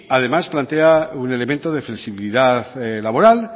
además plantea un elemento de flexibilidad laboral